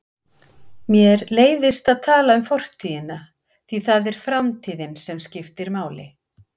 Mér leiðist að tala um fortíðina því það er framtíðin sem skiptir máli.